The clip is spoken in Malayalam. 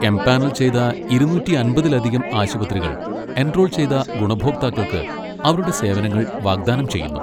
എംപാനൽ ചെയ്ത ഇരുന്നൂറ്റി അമ്പതിലധികം ആശുപത്രികൾ, എൻറോൾ ചെയ്ത ഗുണഭോക്താക്കൾക്ക് അവരുടെ സേവനങ്ങൾ വാഗ്ദാനം ചെയ്യുന്നു.